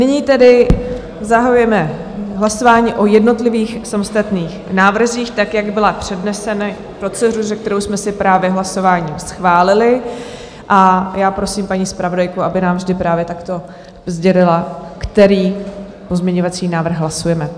Nyní tedy zahajujeme hlasování o jednotlivých samostatných návrzích tak, jak byly předneseny proceduře, kterou jsme si právě hlasováním schválili a já prosím paní zpravodajku, aby nám vždy právě takto sdělila, který pozměňovací návrh hlasujeme.